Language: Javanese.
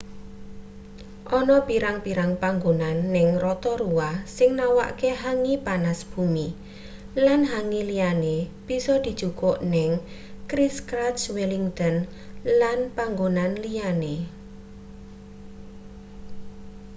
ana pirang-pirang panggonan ning rotorua sing nawakke hangi panas bumi lan hangi liyane bisa dijukuk ning christchurch wellington lan panggonan liyane